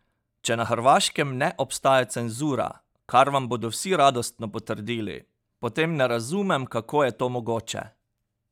Če na Hrvaškem ne obstaja cenzura, kar vam bodo vsi radostno potrdili, potem ne razumem, kako je to mogoče?